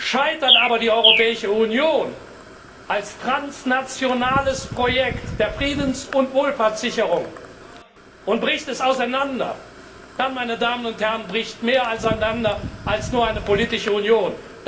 Scheitert aber die Europäische Union als transnationales Projekt der Friedens und Wohlfahrtssicherung und bricht es auseinander, dann bricht mehr auseinander als nur eine politische Union.